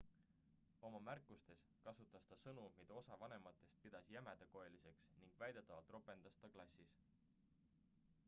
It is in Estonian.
oma märkustes kasutas ta sõnu mida osa vanematest pidas jämedakoeliseks ning väidetavalt ropendas ta klassis